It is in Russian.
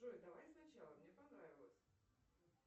джой давай сначала мне понравилось